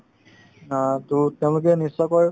অ, to তেওঁলোকে নিশ্চয়কৈ